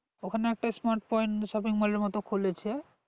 ওখানে একটা smart point shopping mall এর মতো খুলেছে